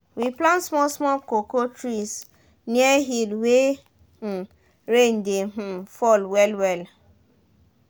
we plant small small cocoa trees near hill wey um rain de um fall well -well